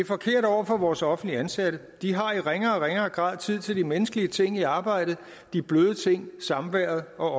forkert over for vores offentligt ansatte de har i ringere og ringere grad tid til de menneskelige ting i arbejdet de bløde ting samværet og